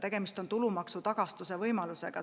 Tegemist on tulumaksu tagastuse võimalusega.